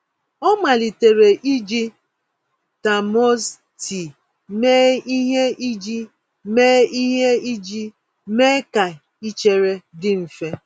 Ọ malitere iji termos tii mee ihe iji mee ihe iji mee ka ichere dị mfe.